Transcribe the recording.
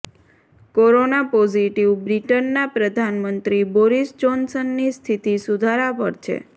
corona positive બ્રિટનના પ્રધાનમંત્રી Boris જોનસનની સ્થિતિ સુધારા પર છે